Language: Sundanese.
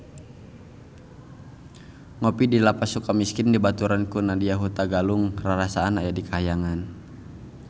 Ngopi di Lapas Sukamiskin dibaturan ku Nadya Hutagalung rarasaan aya di kahyangan